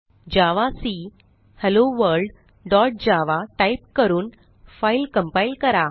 जावाक hello world dot Java type करून file compile करा